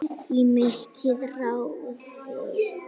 Í mikið ráðist